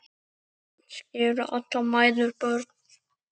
Kannski eru allar mæður börn.